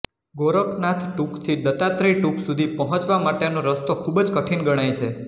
ગોરખનાથ ટુંકથી દત્તાત્રેય ટુંક સુધી પહોંચવા માટેનો રસ્તો ખૂબજ કઠીન ગણાય છે